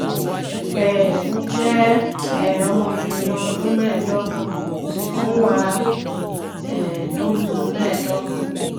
um mo jẹ um ọmọbìnrin ọdún mẹ́ẹ̀ẹ́dọ́gbọ̀n mo sì tún wà um lóyún mẹ́ẹ̀ẹ̀ẹ̀dọ́gbọ̀n